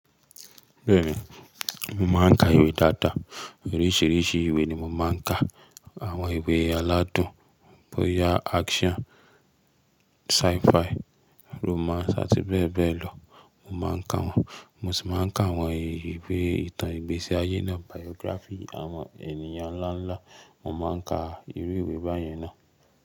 Bẹ́ẹ̀ni, mo máa ń ka ìwé dáadáa. Oríṣiríṣi ìwé ni mo máa ń ka. Àwọn ìwé aládùn bóyá action, sci-fi, romance àti bẹ́ẹ̀ bẹ́ẹ̀ lọ mo máa ń ka wọ́n. Mo sì máa ń ka àwọn ìwé ìtàn ìgbésí ayé náà, biography àwọn ènìyàn ńláńlá, mo máa ń ka irú ìwé báyan náà.